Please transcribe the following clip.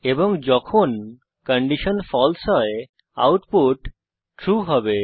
এবং যখন কন্ডিশন ফালসে হয় আউটপুট ট্রু হবে